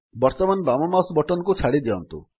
ବର୍ତ୍ତମାନ ବାମ mouse button କୁ ଛାଡ଼ିଦିଅନ୍ତୁ